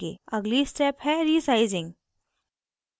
अगली step है resizing